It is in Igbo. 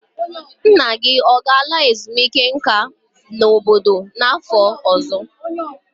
Nna gị ọ ga-ala ezumike nka n'ime obodo n'afọ ọzọ?